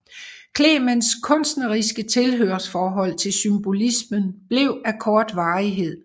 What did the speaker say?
Clements kunstneriske tilhørsforhold til symbolismen blev af kort varighed